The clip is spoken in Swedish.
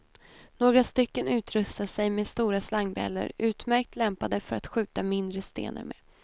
Några stycken utrustar sig med stora slangbellor, utmärkt lämpade för att skjuta mindre stenar med.